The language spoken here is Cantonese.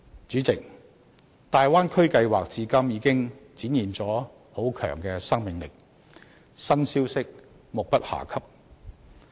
主席，大灣區計劃至今已展現了很強的生命力，新消息目不暇給。